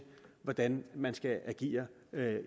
hvordan man skal agere